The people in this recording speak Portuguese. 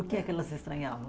O que é que elas estranhavam?